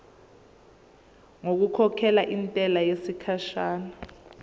ngokukhokhela intela yesikhashana